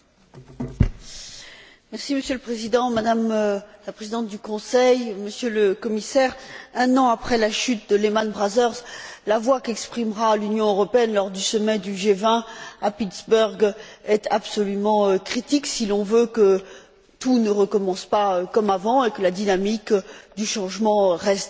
Monsieur le Président, Madame la Présidente du Conseil, Monsieur le Commissaire, un an après la chute de Lehman Brothers, la voix qu'exprimera l'Union européenne lors du sommet du G20 à Pittsburgh sera absolument critique si l'on veut que tout ne recommence pas comme avant et que la dynamique du changement reste en haut de l'agenda.